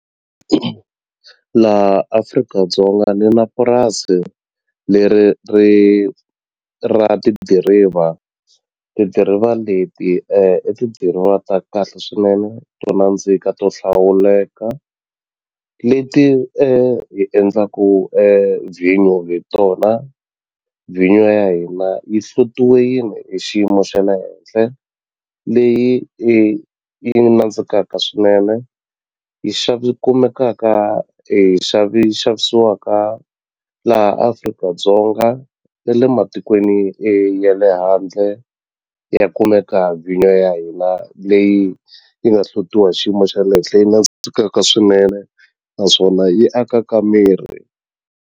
Laha Afrika-Dzonga ni na purasi leri ri ra tidiriva, tidiriva leti i tidiriva ta kahle swinene to nandzika to hlawuleka leti hi endlaku vhinyo hi tona vhinyo ya hina yi hlutiwini hi xiyimo xa le henhle leyi yi nandzikaka swinene yi yi kumekaka yi xavisiwaka laha Afrika-Dzonga na le matikweni ya le handle ya kumeka vhinyo ya hina leyi yi nga hlutiwa hi xiyimo xa le henhla yi swinene naswona yi akaka miri.